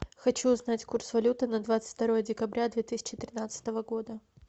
хочу узнать курс валюты на двадцать второе декабря две тысячи тринадцатого года